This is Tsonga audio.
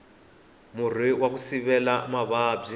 murhi waku sivela mavabyi